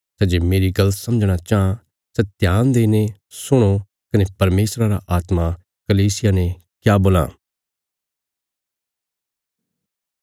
सै जे मेरी गल्ल समझणा चाँह सै ध्यान देईने सुणो भई परमेशरा रा आत्मा कलीसियां ने क्या बोलां